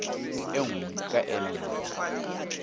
e nngwe e ka nne